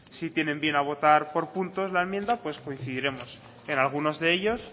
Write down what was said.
si tienen bien a votar por puntos la enmienda coincidiremos en algunos de ellos